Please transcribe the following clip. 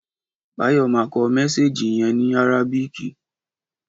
Báyò ma kọ mésééjì yen ní àrábíkì